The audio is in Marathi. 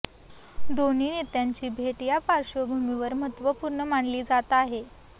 दोन्ही नेत्यांची भेट या पार्श्वभूमीवर महत्त्वपूर्ण मानली जात आहे